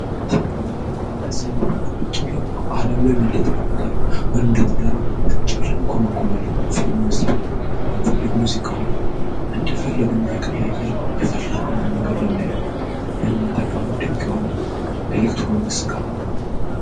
ቴሌቪጂ እዚህ ቤታቹን ቁጭውላን አዓለም ላይ ምእንደተፈጠረ ምን እንደተደረገው ቁጭውላን ከመኩምለን ፊልሞን ስብንል ምንፈልግ ሙዚቅ ሆን እንደ ፈለግን የየርን የፈለግ ነውን ነገር ለመየት የምነጠቀም በት ድንቅ የሆነ ኤሌክትሮኒክ ስቃኑ